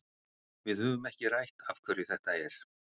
Við höfum ekki rætt af hverju þetta er.